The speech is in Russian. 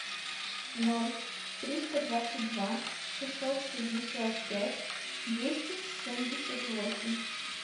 ноль триста двадцать два шестьсот шестьдесят пять двести семьдесят восемь